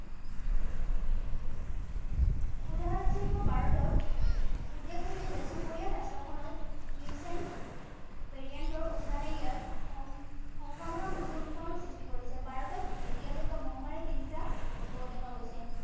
উদাহৰণস্বৰূপে ভাৰতত উদ্বেগ হৈছে যে চুবুৰীয়া ৰাষ্ট্ৰখনত recent variant ৰ সংক্ৰমণৰ নতুন সৃষ্টি কৰিছে। ভাৰতত এতিয়ালৈকে মহামাৰীৰ তিনিটা ঢৌ দেখা গৈছে।